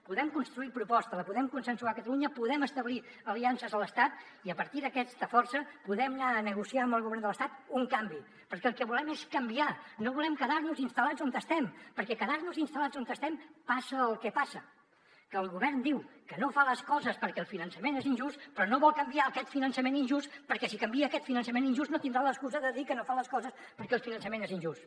podem construir la proposta la podem consensuar a catalunya podem establir aliances a l’estat i a partir d’aquesta força podem anar a negociar amb el govern de l’estat un canvi perquè el que volem és canviar no volem quedar nos instal·lats on estem perquè en quedar nos instal·lats on estem passa el que passa que el govern diu que no fa les coses perquè el finançament és injust però no vol canviar aquest finançament injust perquè si canvia aquest finançament injust no tindrà l’excusa de dir que no fa les coses perquè el finançament és injust